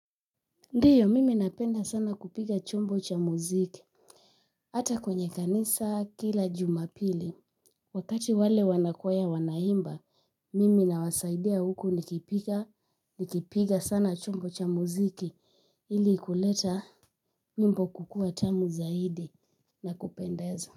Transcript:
Ndiyo mimi napenda sana kupiga chombo cha muziki. Hata kwenye kanisa kila Jumapili wakati wale wanakwaya wanaimba mimi nawasaidia huku nikipiga nikipiga sana chombo cha muziki ili kuleta wimbo kukua tamu zaidi na kupendeza.